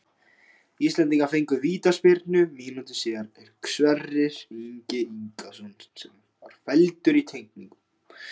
Íslendingar fengu vítaspyrnu mínútu síðar er Sverrir Ingi Ingason var felldur í teignum.